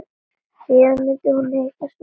Síðan myndi hún hitta Svein.